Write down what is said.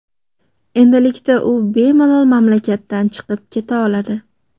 Endilikda u bemalol mamlakatdan chiqib keta oladi.